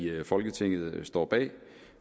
folketinget står bag